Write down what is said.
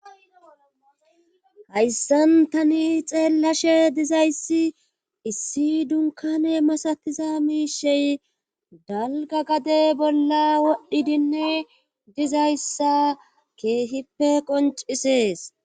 hayssantani xeellashe dizayssi issi dunkane masatiza miishey dalga gade bolla wodhdhidinne dizayssa keehippe qoncisees